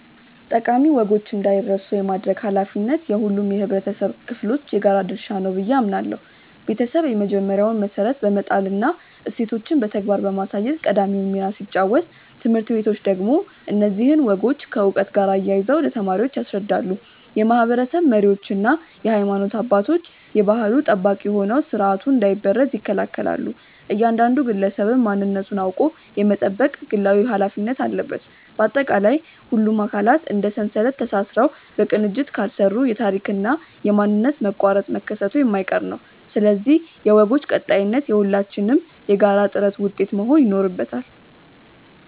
ጠቃሚ ወጎች እንዳይረሱ የማድረግ ኃላፊነት የሁሉም የኅብረተሰብ ክፍሎች የጋራ ድርሻ ነው ብዬ አምናለሁ። ቤተሰብ የመጀመሪያውን መሠረት በመጣልና እሴቶችን በተግባር በማሳየት ቀዳሚውን ሚና ሲጫወት፣ ትምህርት ቤቶች ደግሞ እነዚህን ወጎች ከዕውቀት ጋር አያይዘው ለተማሪዎች ያስረዳሉ። የማኅበረሰብ መሪዎችና የሃይማኖት አባቶች የባሕሉ ጠባቂ ሆነው ሥርዓቱ እንዳይበረዝ ይከላከላሉ፤ እያንዳንዱ ግለሰብም ማንነቱን አውቆ የመጠበቅ ግላዊ ኃላፊነት አለበት። ባጠቃላይ፣ ሁሉም አካላት እንደ ሰንሰለት ተሳስረው በቅንጅት ካልሠሩ የታሪክና የማንነት መቋረጥ መከሰቱ የማይቀር ነው፤ ስለዚህ የወጎች ቀጣይነት የሁላችንም የጋራ ጥረት ውጤት መሆን ይኖርበታል።